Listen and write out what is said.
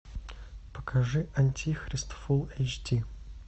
покажи антихрист фулл эйч ди